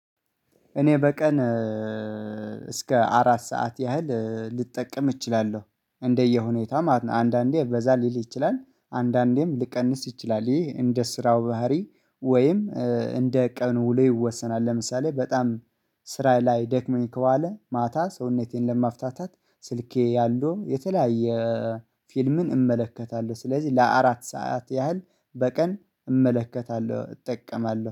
እኔ በቀን እስከ አራት ሰዓት ያህል ልጠቀም እችላለሁ። እንደየሁኔታም አንዳንዴ በዛ ሊል ይችላል፤ አንዳንዴም ልቀንስ ይችላል፤ ይህ እንደ ስራው ባህሪ ወይም እንደ ቀን ውሎዬ ይወሰናል። ለምሳሌ በጣም ስራ ላይ ደክሞኝ ከዋለ ማታ ሰውነቴን ለማፍታታት፤ ስልኬ ያሉ የተለያየ ፊልምን እመለከታለሁ ስለዚህ ለአራት ሰዓት ያህል በቀን እመለከታለሁ እጠቀማለሁ።